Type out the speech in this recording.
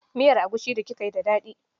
Miyar egusi d kika yi da daɗi